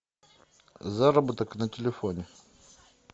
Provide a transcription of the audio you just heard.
заработок на телефоне